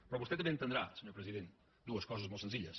però vostè també deu entendre senyor president dues coses molt senzilles